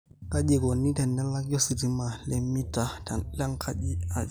kaji eikoni tenelaki ositima le mita lenkaji aai